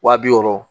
Wa bi wɔɔrɔ